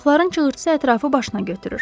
Uşaqların çığırtısı ətrafı başına götürür.